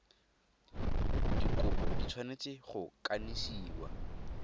dikopo di tshwanetse go kanisiwa